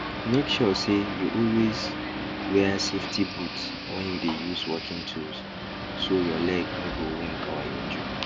make sure say you always wear safety boot when you dey use working tools so your leg no go wound or injure